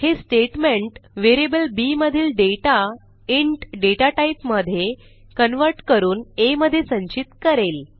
हे statement variable B मधील data int data type मधे कन्व्हर्ट करून आ मधे संचित करेल